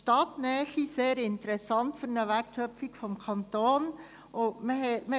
Zudem befinden sie sich in Stadtnähe, was für die Wertschöpfung des Kantons sehr interessant ist.